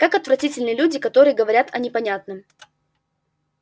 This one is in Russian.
как отвратительны люди которые говорят о непонятном